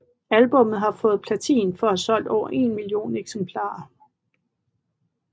Albummet har fået platin for at have solgt over en million eksemplarer